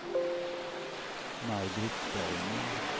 Maj-Britt Bergman